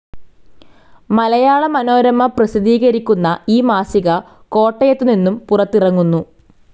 മലയാള മനോരമ പ്രസിദ്ധീകരിക്കുന്ന ഈ മാസിക കോട്ടയത്ത് നിന്നും പുറത്തിറങ്ങുന്നു.